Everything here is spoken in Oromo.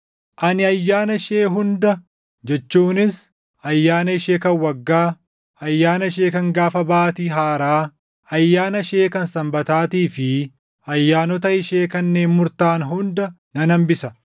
Ani ayyaana ishee hunda jechuunis, ayyaana ishee kan waggaa, ayyaana ishee kan gaafa baatii haaraa, ayyaana ishee kan Sanbataatii fi ayyaanota ishee kanneen murtaaʼan hunda nan hambisa.